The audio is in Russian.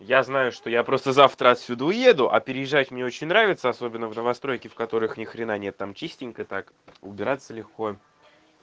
я знаю что я просто завтра отсюда уеду а переезжать мне очень нравится особенно в новостройке в которых ни хрена нет там частенько так убираться легко